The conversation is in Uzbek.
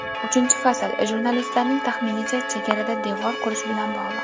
Uchinchi fasl, jurnalistlarning taxminicha, chegarada devor qurish bilan bog‘liq.